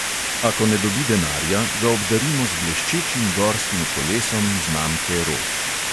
Ako ne dobi denarja, ga obdarimo z bleščečim gorskim kolesom znamke rog.